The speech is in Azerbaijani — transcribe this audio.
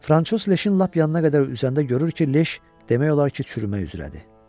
Fransoz leşin lap yanına qədər üzəndə görür ki, leş demək olar ki, çürümək üzrədir.